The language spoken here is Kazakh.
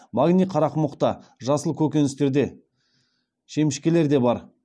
магний қарақұмықта жасыл көкөністерде шемішкелерде бар